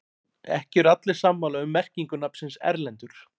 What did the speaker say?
Ekki eru allir sammála um merkingu nafnsins Erlendur.